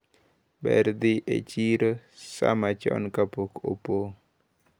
Ber dhi e chiro saa machon kapok opong`.